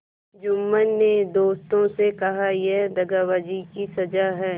जुम्मन ने दोस्तों से कहायह दगाबाजी की सजा है